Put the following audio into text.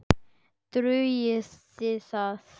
Dugir það?